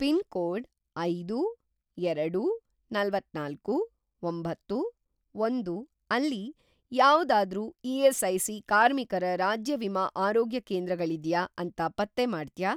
Pin code ಐದು, ಎರಡು, ನಲವತ್ತನಾಲ್ಕು, ಒಂಬತ್ತು, ಒಂದು ಅಲ್ಲಿ ಯಾವ್ದಾದ್ರೂ ಇ.ಎಸ್.ಐ.ಸಿ. ಕಾರ್ಮಿಕರ ರಾಜ್ಯ ವಿಮಾ ಆರೋಗ್ಯಕೇಂದ್ರ ಗಳಿದ್ಯಾ ಅಂತ ಪತ್ತೆ ಮಾಡ್ತ್ಯಾ?